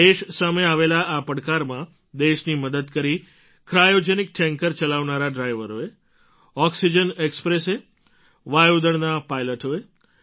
દેશ સામે આવેલા આ પડકારમાં દેશની મદદ કરી ક્રાયૉજેનિક ટૅન્કર ચલાવનારા ડ્રાઇવરોએ ઑક્સિજન ઍક્સ્પ્રેસે વાયુ દળના પાઇલૉટોએ